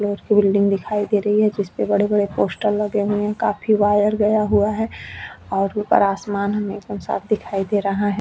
Last building दिखाई दे रही है जिसपे बड़े-बड़े पोस्टर लगे हुए है काफी वायर गया हुआ है और ऊपर आसमान हमें साफ दिखाई दे रहा है।